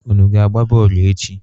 Unu ga-agba bọọlụ echi?